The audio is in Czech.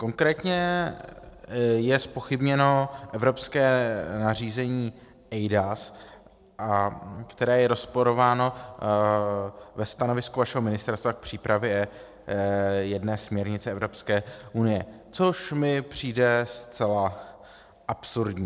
Konkrétně je zpochybněno evropské nařízení eIDAS, které je rozporováno ve stanovisku vašeho ministerstva k přípravě jedné směrnice Evropské unie, což mi přijde zcela absurdní.